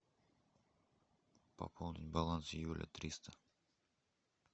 пополнить баланс юля триста